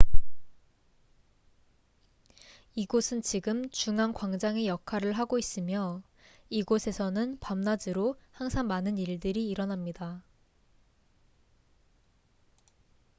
이곳은 지금 중앙 광장의 역할을 하고 있으며 이곳에서는 밤낮으로 항상 많은 일들이 일어납니다